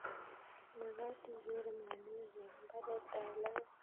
Magat igere mianwek eng' mbaret ab logoek